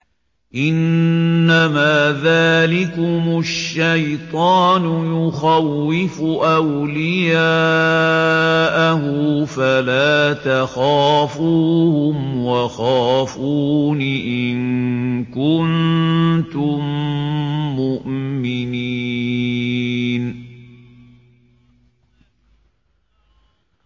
إِنَّمَا ذَٰلِكُمُ الشَّيْطَانُ يُخَوِّفُ أَوْلِيَاءَهُ فَلَا تَخَافُوهُمْ وَخَافُونِ إِن كُنتُم مُّؤْمِنِينَ